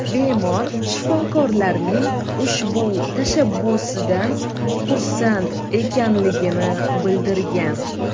Bemor shifokorlarning ushbu tashabbusidan xursand ekanligini bildirgan.